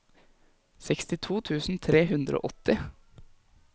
sekstito tusen tre hundre og åtti